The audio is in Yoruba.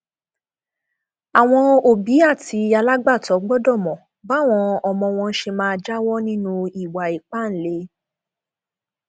àwọn òbí àti alágbàtọ gbọdọ mọ báwọn ọmọ wọn ṣe máa jáwọ nínú ìwà ìpáǹle